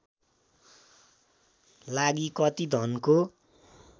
लागि कति धनको